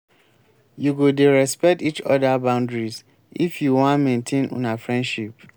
you go dey respect each oda boundaries if you wan maintain una friendship.